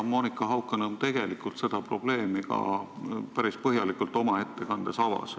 Monika Haukanõmm seda probleemi päris põhjalikult oma ettekandes avas.